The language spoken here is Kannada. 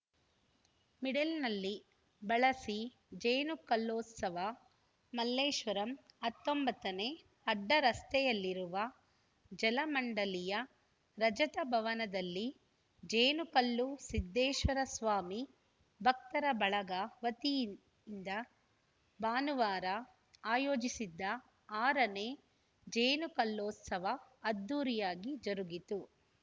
ಮಿಡ್ಲ್‌ನಲ್ಲಿ ಬಳಸಿಜೇನು ಕಲ್ಲೋತ್ಸವ ಮಲ್ಲೇಶ್ವರಂ ಹತ್ತೊಂಬತ್ತ ನೇ ಅಡ್ಡರಸ್ತೆಯಲ್ಲಿರುವ ಜಲಮಂಡಲಿಯ ರಜತ ಭವನದಲ್ಲಿ ಜೇನುಕಲ್ಲು ಸಿದ್ದೇಶ್ವರ ಸ್ವಾಮಿ ಭಕ್ತರ ಬಳಗ ವತಿಯಿಂದ ಭಾನುವಾರ ಆಯೋಜಿಸಿದ್ದ ಆರನೇ ಜೇನುಕಲ್ಲೋತ್ಸವ ಅದ್ಧೂರಿಯಾಗಿ ಜರುಗಿತು